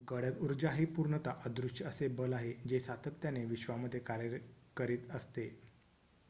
गडद उर्जा हे पूर्णतः अदृश्य असे बल आहे जे सातत्याने विश्वामध्ये कार्य करीत असते